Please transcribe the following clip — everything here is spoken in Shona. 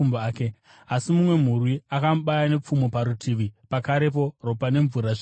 Asi, mumwe murwi akamubaya nepfumo parutivi, pakarepo ropa nemvura zvikabuda.